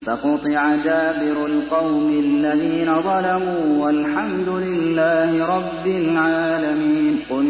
فَقُطِعَ دَابِرُ الْقَوْمِ الَّذِينَ ظَلَمُوا ۚ وَالْحَمْدُ لِلَّهِ رَبِّ الْعَالَمِينَ